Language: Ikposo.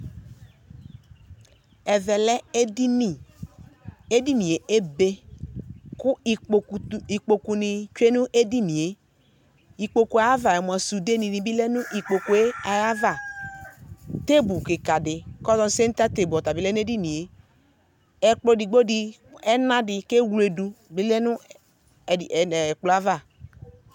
Ɛvɛ lɛ edini, edinie ebe, kʋ ikpoku tʋ ikpokunɩ tsue n'edinie ikpoku ayavaɛ mʋa sude nɩ bɩ lɛ n'ikpokue ava Tebʋ kikadɩ kazɔ seŋta tebʋ ɔtabɩ lɛ n'edinɩe Ɛkplɔ edigbo dɩ ɛnadɩ k'ewledu oyǝ nʋ ɛkplɔɛ ava